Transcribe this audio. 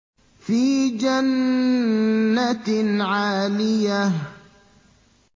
فِي جَنَّةٍ عَالِيَةٍ